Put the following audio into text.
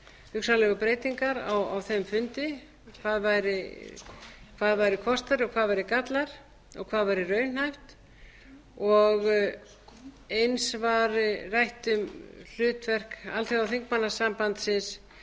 hugsanlegu breytingar á þeim fundi hvað væru kostir og hvað væru gallar og hvað væri raunhæft eins var rætt um hlutverk alþjóðaþingmannasambandsins